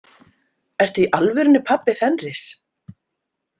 Ertu í alvörunni pabbi Fenris?